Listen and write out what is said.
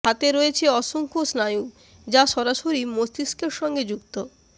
হাতে রয়েছে অসংখ্য স্নায়ু যা সরাসরি মস্তিষ্কের সঙ্গে যুক্ত